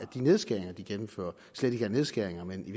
de nedskæringer de gennemfører slet ikke er nedskæringer men i